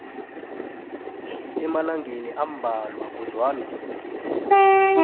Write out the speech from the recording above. emalangeni ambalwa kodwana